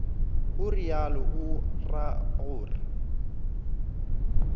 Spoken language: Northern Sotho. o realo o ra gore